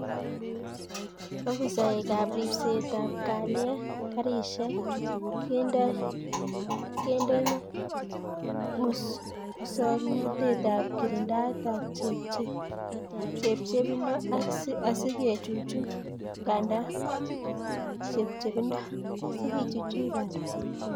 Ofisaekab ribseetab kalyet, garisyek kendeno musoknatetab kiringdaetab chepchebindo asi kechuchuch bandab chepchebindo.